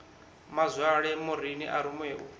mazwale maureen a rumiwe u